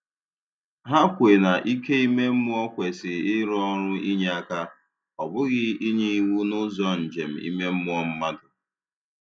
Hà kwè na ike ime mmụọ kwesị ịrụ ọrụ inyé aka, ọ bụghị inye iwu n’ụzọ njem ime mmụọ mmadụ.